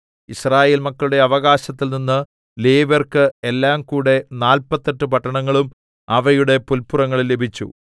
യിസ്രായേൽ മക്കളുടെ അവകാശത്തിൽനിന്ന് ലേവ്യർക്ക് എല്ലാംകൂടെ നാല്പത്തെട്ട് പട്ടണങ്ങളും അവയുടെ പുല്പുറങ്ങളും ലഭിച്ചു